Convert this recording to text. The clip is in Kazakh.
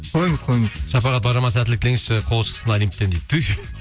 қойыңыз қойыңыз шапағат бажама сәттілік тілеңізші қолы шықсын олимптен дейді түһ